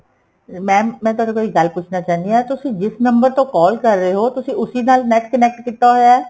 mam ਮੈਂ ਤੁਹਾਡੇ ਕੋਲ ਇੱਕ ਗੱਲ ਪੁੱਛਣਾ ਚਾਹੁੰਦੀ ਆ ਤੁਸੀਂ ਜਿਸ ਨੰਬਰ ਤੋਂ call ਕਰ ਰਹੇ ਹੋ ਤੁਸੀਂ ਉਸੀ ਨਾਲ NET connect ਕੀਤਾ ਹੋਇਆ